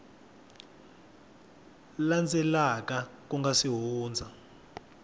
landzelaka ku nga si hundza